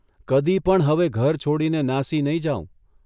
કદી પણ હવે ઘર છોડીને નાસી નહીં જાઉં.